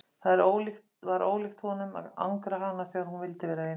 Það var ólíkt honum að angra hana þegar hún vildi vera ein.